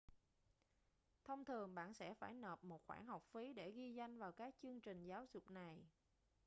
thông thường bạn sẽ phải nộp một khoản học phí để ghi danh vào các chương trình giáo dục này